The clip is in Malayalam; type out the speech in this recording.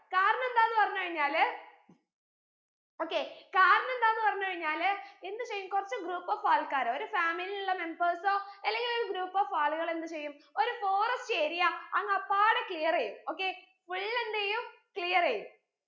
okay കാരണം എന്താന്ന് പറഞ്ഞു കഴിഞ്ഞാല് എന്ത് ചെയ്യും കുറച്ച്‌ group of ആൾക്കാർ ഒരു family ലെ members ഓ അല്ലെങ്കിൽ ഒരു group of ആളുകൾ എന്ത് ചെയ്യും ഒരു forest area അങ്ങ് അപ്പാടെ clear എയ്യും okay full എന്തെയ്യും clear എയ്യും